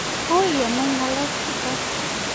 uiy ke nai ngalek chutok